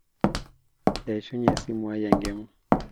eshunye esimu ai enkima